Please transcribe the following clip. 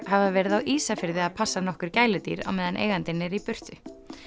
hafa verið á Ísafirði að passa nokkur gæludýr á meðan eigandinn er í burtu